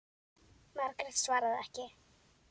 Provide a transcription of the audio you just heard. Margrét svaraði ekki.